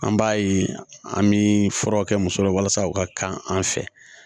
An b'a ye an bɛ furaw kɛ muso la walasa u ka kan an fɛ